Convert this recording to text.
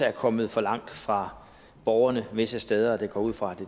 er kommet for langt fra borgerne visse steder jeg går ud fra